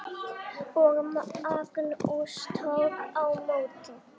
Og Magnús tók á móti?